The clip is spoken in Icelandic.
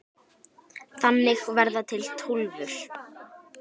Þannig verða til Tólfur.